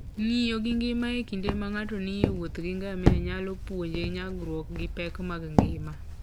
Ng'iyo gi ngima e kinde ma ng'ato nie wuoth gi ngamia nyalo puonje nyagruok gi pek mag ngima.